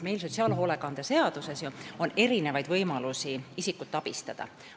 Sotsiaalhoolekande seaduses on ju erinevaid võimalusi, kuidas saab isikut abistada.